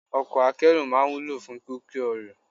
Ọkọ̀ akẹ́rù máa ń wúlò fún kíkó ẹrù.